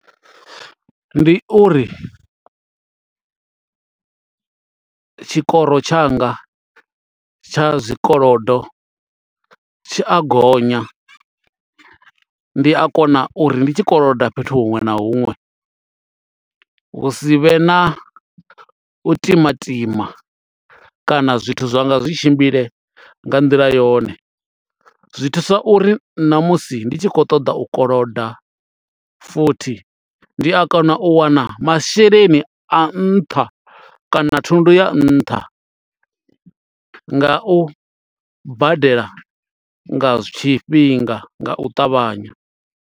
Ndi uri tshikoro tshanga tsha zwikolodo tshi a gonya ndi a kona uri ndi tshi koloda fhethu huṅwe na huṅwe hu si vhe na u timatima kana zwithu zwa nga zwi tshimbile nga nḓila yone, zwi thusa uri na musi ndi tshi khou ṱoḓa u koloda futhi ndi a kona u wana masheleni a nṱha kana thundu ya nṱha nga u badela nga tshifhinga nga u ṱavhanya.